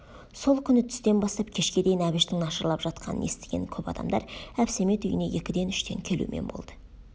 сол күні түстен бастап кешке дейін әбіштің нашарлап жатқанын естіген көп адамдар әбсәмет үйіне екіден-үштен келумен болды